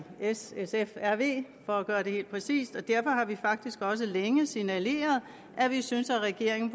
s sf og rv for at være hel præcis og derfor har vi faktisk også længe signaleret at vi synes regeringen